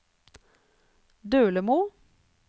Dølemo